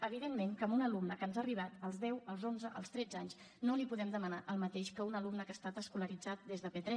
evidentment que a un alumne que ens ha arribat als deu als onze als tretze anys no li podem demanar el mateix que a un alumne que ha estat escolaritzat des de p3